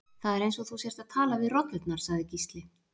Það er eins og þú sért að tala við rollurnar, sagði Gísli.